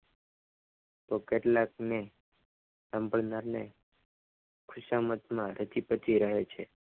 તો કેટલાકને સાંભળનાર ને ખિસામતમાં રચી પચી રહે છે.